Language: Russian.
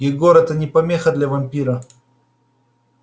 егор это не помеха для вампира